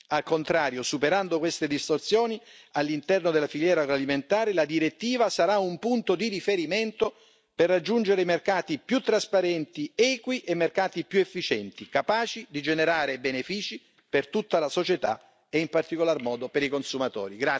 Al contrario, superando queste distorsioni all'interno della filiera agroalimentare, la direttiva sarà un punto di riferimento per raggiungere mercati più trasparenti ed equi, mercati più efficienti capaci di generare benefici per tutta la società, e in particolar modo per i consumatori.